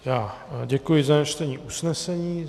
Já děkuji za přečtení usnesení.